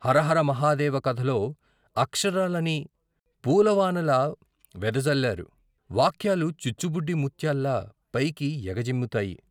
హరహర మహాదేవ కథలో అక్షరాలని పూలవానలా వెదజల్లారు వాక్యాలు చిచ్చుబుడ్డి ముత్యాల్లా పైకి ఎగ జిమ్ముతాయి.